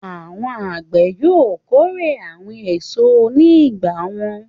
Àwọn àgbẹ̀ yóò kórè àwọn èso ní ìgbà wọn.